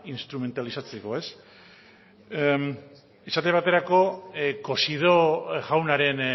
instrumentalizatzeko esate baterako cosidó jaunaren